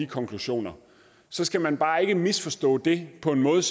konklusioner så skal man bare ikke misforstå det på den måde